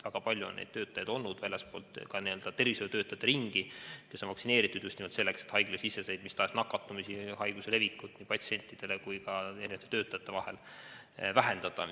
Väga palju on töötajaid väljastpoolt tervishoiutöötajate ringi, kes on vaktsineeritud just nimelt selleks, et haiglasiseseid nakatumisi, haiguse levikut nii patsientidele kui ka töötajate vahel vähendada.